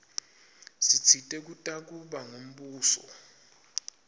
sitsite kutakuba ngumbuso